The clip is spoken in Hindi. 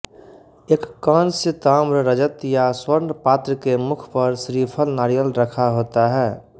एक कांस्य ताम्र रजत या स्वर्ण पात्र के मुख पर श्रीफल नारियल रखा होता है